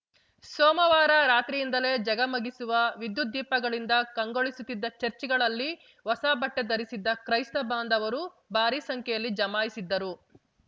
ಸೋಮವಾರ ರಾತ್ರಿಯಿಂದಲೇ ಝಗಮಗಿಸುವ ವಿದ್ಯುದ್ದೀಪಗಳಿಂದ ಕಂಗೊಳಿಸುತ್ತಿದ್ದ ಚಚ್‌ರ್‍ಗಳಲ್ಲಿ ಹೊಸ ಬಟ್ಟೆಧರಿಸಿದ್ದ ಕ್ರೈಸ್ತ ಬಾಂಧವರು ಭಾರಿ ಸಂಖ್ಯೆಯಲ್ಲಿ ಜಮಾಯಿಸಿದ್ದರು